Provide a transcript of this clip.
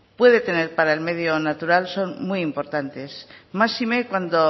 puede tener para el medio natural son muy importantes máxime cuando